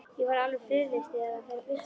Ég verð alveg friðlaus þegar það fer að birta.